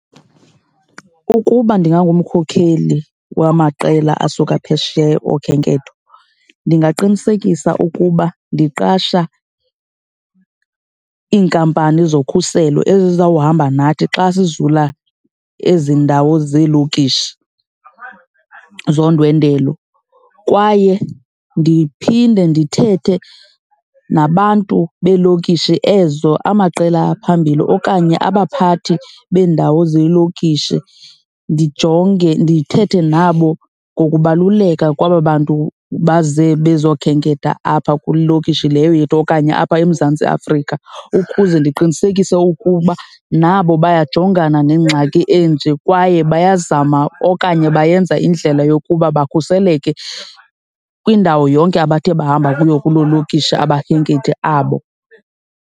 Ukuba ndingangumkhokheli wamaqela asuka phesheya okhenketho, ndingaqinisekisa ukuba ndiqasha iinkampani zokhuselo ezizawuhamba nathi xa sizula ezi ndawo zeelokishi zondwendwelo. Kwaye ndiphinde ndithethe nabantu beelokishi ezo, amaqela phambili okanye abaphathi bendawo zeelokishi ndijonge, ndithethe nabo ngokubaluleka kwaba bantu baze bazokhenketha apha kule iilokishi leyo yethu okanye apha eMzantsi Afrika. Ukuze ndiqinisekise ukuba na nabo bayajongana nengxaki enje kwaye bayazama okanye bayenza indlela yokuba bakhuseleke kwindawo yonke abathe bahamba kuyo kuloo lokishi abakhenkethi abo.